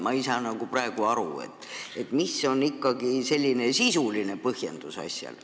Ma ei saa praegu aru, mis on ikkagi asja sisuline põhjendus.